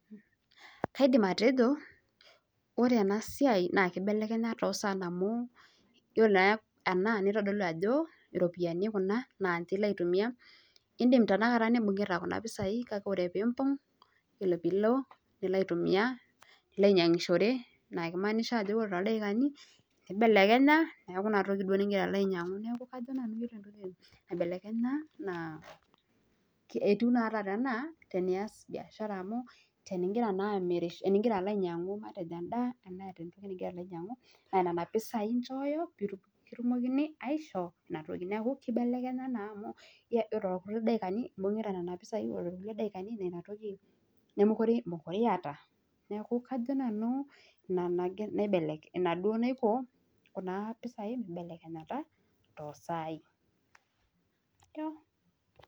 Kaidim atejo ore ena siae naa ekeibelekenya toosan amu yilo naa ena nitodolu Ajo iropiyiani Kuna naache ilo aitumiya nilo idim tenakata nebungita Kuna pisai kake ore piimba ore piilo nilo aitumiya nilo anyiangishore neeku keimaanisha ore toldaiikani nibelekenya neeku inatoki duo niloito ainyiangu neeku nanu kajo naibelekesha naa itu naa taata enaa